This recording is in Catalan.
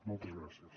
moltes gràcies